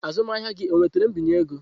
Azụmahịa gị onwetara mbinye ego?